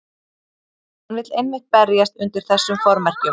Hann vill einmitt berjast undir þessum formerkjum.